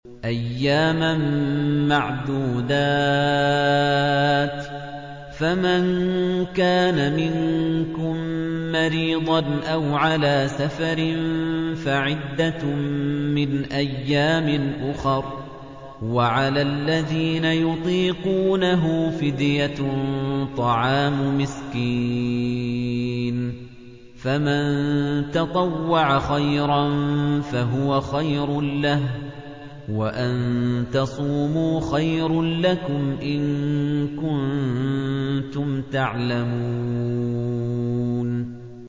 أَيَّامًا مَّعْدُودَاتٍ ۚ فَمَن كَانَ مِنكُم مَّرِيضًا أَوْ عَلَىٰ سَفَرٍ فَعِدَّةٌ مِّنْ أَيَّامٍ أُخَرَ ۚ وَعَلَى الَّذِينَ يُطِيقُونَهُ فِدْيَةٌ طَعَامُ مِسْكِينٍ ۖ فَمَن تَطَوَّعَ خَيْرًا فَهُوَ خَيْرٌ لَّهُ ۚ وَأَن تَصُومُوا خَيْرٌ لَّكُمْ ۖ إِن كُنتُمْ تَعْلَمُونَ